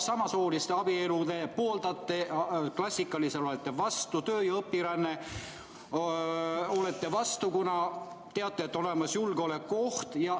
Samasooliste abielu te pooldate, klassikalisele olete vastu, töö- ja õpirändele olete vastu, kuna teate, et on olemas julgeolekuoht.